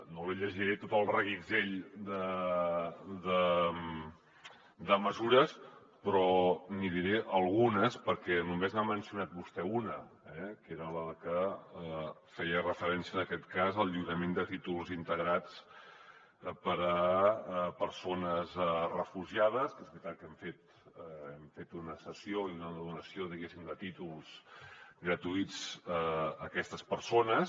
no li llegiré tot el reguitzell de mesures però n’hi diré algunes perquè només n’ha mencionat vostè una eh que era la que feia referència en aquest cas al lliurament de títols integrats per a persones refugiades que és veritat que hem fet una cessió i una donació diguéssim de títols gratuïts a aquestes persones